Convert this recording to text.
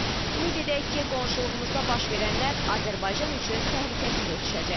Ümid edək ki, qonşuluğumuzda baş verənlər Azərbaycan üçün təhlükəsiz ötüşəcək.